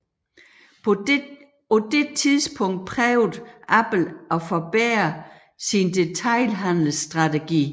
På det tidspunkt prøvede Apple at forbedre sin detailhandelsstrategi